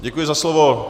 Děkuji za slovo.